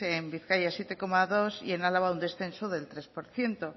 en bizkaia siete coma dos y en álava un descenso del tres por ciento